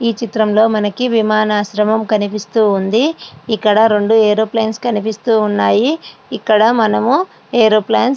ఈ చిత్రంలో మనకి విమాన ఆశ్రమం కనిపిస్తుంది. ఇక్కడ రెండు అరెవోప్లాన్స్ కనిపిస్తూ ఉన్నాయి. ఇక్కడ మనము అరెవోప్లాన్స్ --